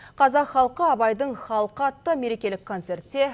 қазақ халқы абайдың халқы атты мерекелік концертте